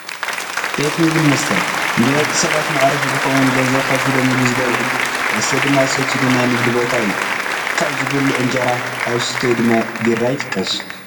ቤት ምግብን መስተን፡- ንደቂ ሰባት መዕረፊ ዝኾነን ገንዘብ ከፊሎም ምግቢ ዝበልዑሉ ፣ መስተ ድማ ዝሰትዩሉ ናይ ንግዲ ቦታ እዩ፡፡ ካብ ዝብልዑ እንጀራ ፣ ካብ ዝስተዩ ድማ ቢራ ይጥቀሱ፡፡